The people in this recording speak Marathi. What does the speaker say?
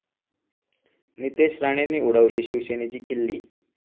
नितेश राणेंनी उडवली शिवसेनेची खिल्ली